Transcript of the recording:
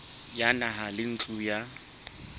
ya naha le ntlo ya